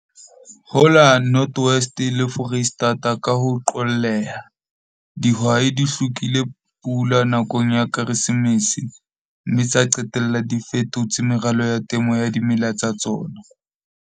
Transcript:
Ho la North West le Foreisetata ka ho qolleha, dihwai di hlokile pula nakong ya Keresemese, mme tsa qetella di fetotse meralo ya temo ya dimela tsa tsona.